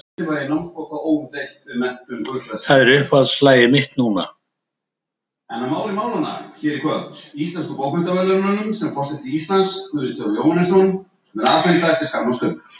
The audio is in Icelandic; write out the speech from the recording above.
Það er uppáhaldslagið mitt núna.